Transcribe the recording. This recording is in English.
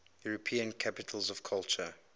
european capitals of culture